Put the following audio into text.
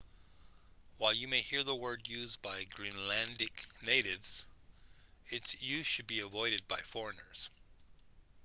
while you may hear the word used by greenlandic natives its use should be avoided by foreigners